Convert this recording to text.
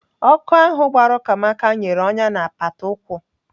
Ọkụ ahụ gbara Ukamaka nyere ọnyá na apata ụkwụ.